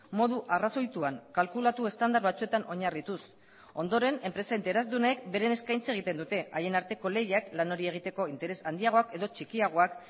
modu arrazoituan kalkulatu estandar batzuetan oinarrituz ondoren enpresa interesdunek beren eskaintza egiten dute haien arteko lehiak lan hori egiteko interes handiagoak edo txikiagoak